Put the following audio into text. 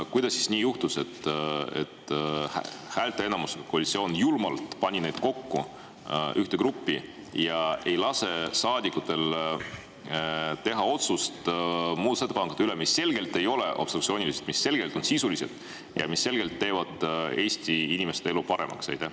Kuidas nii juhtus, et koalitsioon pani julmalt need häälteenamusega ühte gruppi ja ei lase saadikutel teha otsust muudatusettepanekute puhul, mis ei ole obstruktsioonilised, vaid on selgelt sisulised ja teeksid Eesti inimeste elu paremaks?